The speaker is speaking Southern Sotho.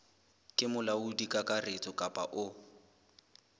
ke molaodi kakaretso kapa o